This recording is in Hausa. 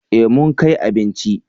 Eh mun kai abinci